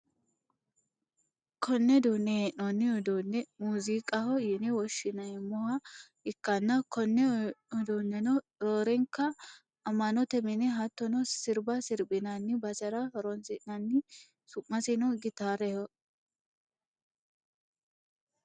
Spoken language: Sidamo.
konne duunne hee'noonni uduunne muuziiqaho yine wshshi'neemmoha ikkanna, konne uduuneno roorenkanni amma'note mine hattono sirba sirbinanni basera horonsi'nanni, sumasino gitaraho